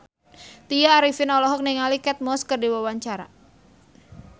Tya Arifin olohok ningali Kate Moss keur diwawancara